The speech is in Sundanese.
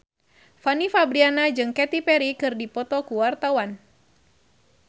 Fanny Fabriana jeung Katy Perry keur dipoto ku wartawan